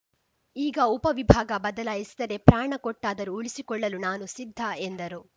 ಈಗ ಉಪವಿಭಾಗ ಬದಲಾಯಿಸಿದರೆ ಪ್ರಾಣ ಕೊಟ್ಟಾದರೂ ಉಳಿಸಿಕೊಳ್ಳಲು ನಾನು ಸಿದ್ಧ ಎಂದರು